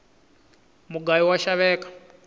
mugayu wa xaveka